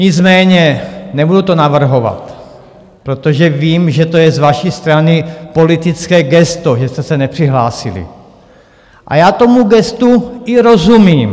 Nicméně nebudu to navrhovat, protože vím, že to je z vaší strany politické gesto, že jste se nepřihlásili, a já tomu gestu i rozumím.